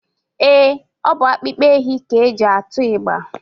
Ee, ọ bụ akpụkpọ ehi ka e ji atụ ịgba